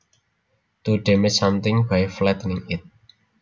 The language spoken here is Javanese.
To damage something by flattening it